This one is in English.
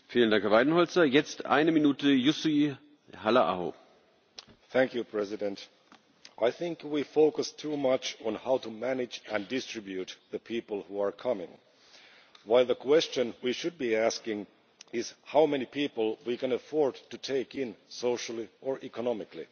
Mr President, I think we focus too much on how to manage and distribute the people who are coming, while the question we should be asking is how many people we can afford to take in socially or economically.